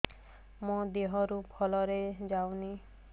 ମୋ ଦିହରୁ ଭଲରେ ଯାଉନି